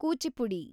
Kuchipudi